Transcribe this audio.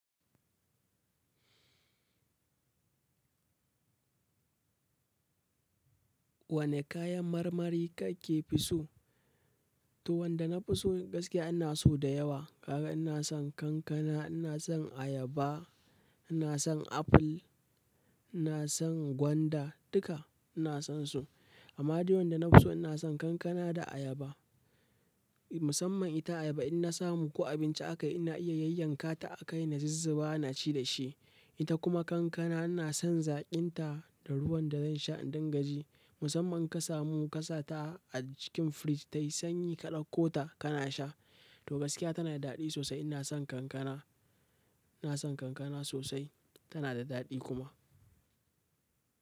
Wane kayan marmari kake fi so? To wanda na fi so gaskiya ina so da yawa. Ka ga ina son kankana, ina son ayaba, ina son aful, ina son gwanda, duka ina son su. Amma dai wanda na fi so ina son kankana da ayaba. Musamman ita ayaba inna samu ko abinci aka yi ina iya yayyanka ta aka yi na zizzaba na ci da shi. Ita kuma kankana ina son zaƙin ta da ruwan da zan sha in dangaji. Musamman ka samu ka sa ta a cikin fridge tayi sanyi ka ɗauko ta kana sha. To gaskiya tana da daɗi sosai. Ina son kankana, ina son kankana sosai tana da daɗi kuma.